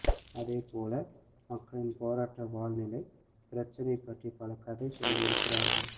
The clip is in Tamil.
அதேபோல மக்களின் போராட்ட வாழ்நிலை பிரச்சனை பற்றி பல கதை சொல்லியிருக்கிறார்கள்